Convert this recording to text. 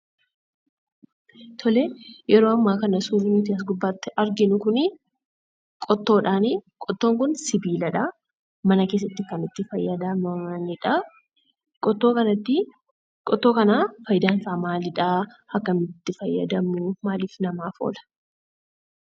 Tolee, yeroo ammaa kana suurri nuti as gubbaatti arginuu kunii qottoodhaa, qottoon kun sibiiladha. Mana keessatti kan itti fayyadamanidhaa. Qottoo kanattii, Qottoo kana dayidaasaa maalidhaa? Akkamitti itti fayyadamu?